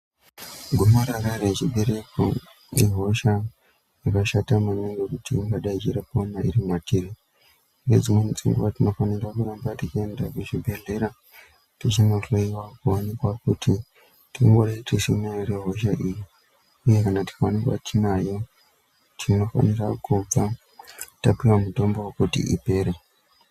Gomarara rechibereko ihosha yakashata maningi kuti ingadai ichirarama iri matiri nedzimwe dzenguva tinofanirwa kuenda kuchibhedhlera tichinohloyiwa kuoneka kuti tingori tichinayo here hosha iyi uye tikaonekwa tinayo tinofanirwa kuudza topiwe mutombo wokuti ipere.